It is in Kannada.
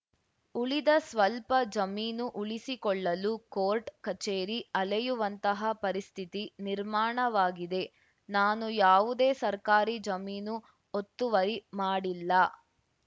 ಉಳಿದ ಸ್ವಲ್ಪ ಜಮೀನು ಉಳಿಸಿಕೊಳ್ಳಲು ಕೋರ್ಟ್ ಕಚೇರಿ ಅಲೆಯುವಂತಹ ಪರಿಸ್ಥಿತಿ ನಿರ್ಮಾಣವಾಗಿದೆ ನಾನು ಯಾವುದೇ ಸರ್ಕಾರಿ ಜಮೀನು ಒತ್ತುವರಿ ಮಾಡಿಲ್ಲ